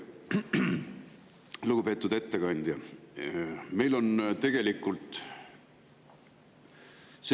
Lugupeetud ettekandja!